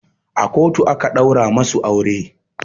A kotu aka ɗaura masu aure